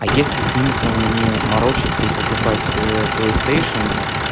а есть ли смысл мне морочиться и покупать плейстейшен